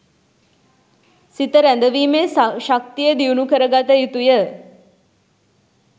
සිත රැඳවීමේ ශක්තිය දියුණු කරගත යුතුය.